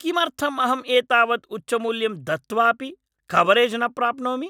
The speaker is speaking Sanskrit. किमर्थम् अहं एतावत् उच्चमूल्यं दत्वापि कवरेज् न प्राप्नोमि?